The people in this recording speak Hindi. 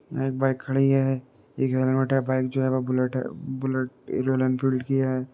एक बाइक खड़ी है। एक हेलमेट है। बाइक जो है वो बुलेट है। बुलेट ए रॉयल एन्फील्ड की है।